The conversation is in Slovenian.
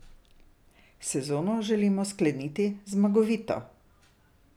Sezono želimo skleniti zmagovito.